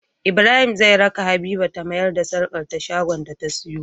Ibrahim zai raka habiba ta mayar da sarƙar ta shagon da ta siyo